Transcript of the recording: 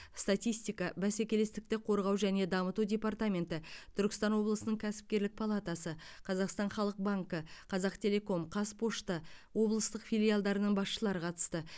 статистика бәсекелестікті қорғау және дамыту департаменті түркістан облысының кәсіпкерлік палатасы қазақстан халық банкі қазақтелеком қазпочта облыстық филиалдарының басшылары қатысты